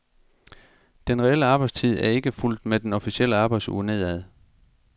Den reelle arbejdstid er ikke fulgt med den officielle arbejdsuge nedad.